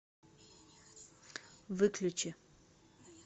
выключи